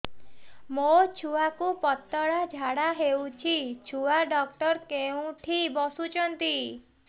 ମୋ ଛୁଆକୁ ପତଳା ଝାଡ଼ା ହେଉଛି ଛୁଆ ଡକ୍ଟର କେଉଁଠି ବସୁଛନ୍ତି